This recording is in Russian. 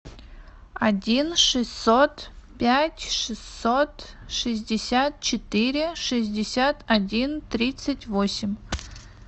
один шестьсот пять шестьсот шестьдесят четыре шестьдесят один тридцать восемь